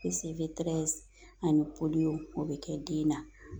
ani o bɛ kɛ den na